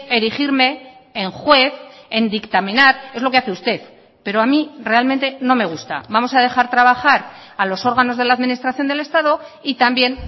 erigirme en juez en dictaminar es lo que hace usted pero a mí realmente no me gusta vamos a dejar trabajar a los órganos de la administración del estado y también